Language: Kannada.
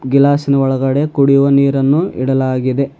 ಗ್ಲಾಸ್ಸಿನ ಒಳಗಡೆ ಕುಡಿಯುವ ನೀರನ್ನು ಇಡಲಾಗಿದೆ.